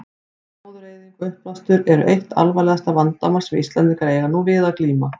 Gróðureyðing og uppblástur eru eitt alvarlegasta vandamál sem Íslendingar eiga nú við að glíma.